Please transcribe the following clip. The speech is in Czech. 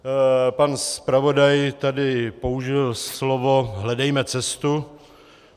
Pan zpravodaj tady použil slovo "hledejme cestu".